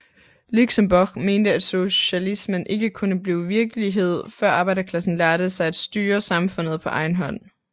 Luxembourg mente at socialismen ikke kunne blive virkelighed før arbejderklassen lærte sig at styre samfundet på egen hånd